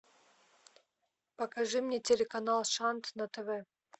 покажи мне телеканал шант на тв